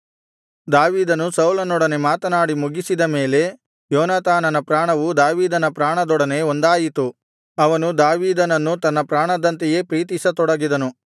ದಾವೀದನು ಸೌಲನೊಡನೆ ಮಾತನಾಡಿ ಮುಗಿಸಿದ ಮೇಲೆ ಯೋನಾತಾನನ ಪ್ರಾಣವು ದಾವೀದನ ಪ್ರಾಣದೊಡನೆ ಒಂದಾಯಿತು ಅವನು ದಾವೀದನನ್ನು ತನ್ನ ಪ್ರಾಣದಂತೆಯೇ ಪ್ರೀತಿಸತೊಡಗಿದನು